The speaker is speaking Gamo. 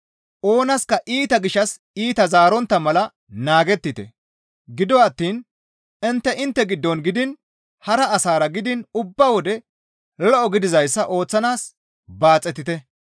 Oonaska iita gishshas iita zaarontta mala naagettite; gido attiin intte intte giddon gidiin hara asara gidiin ubba wode lo7o gidizayssa ooththanaas baaxetite.